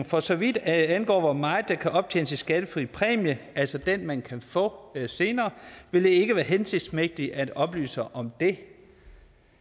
for så vidt angår hvor meget der kan optjenes i skattefri præmie altså den man kan få senere vil det ikke være hensigtsmæssigt at oplyse om det